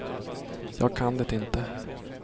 Jag kan det inte.